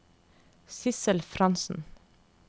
Sidsel Frantzen